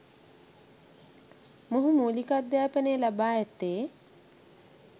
මොහු මූලික අධ්‍යාපනය ලබා ඇත්තේ